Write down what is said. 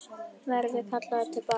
Verður hann kallaður til baka?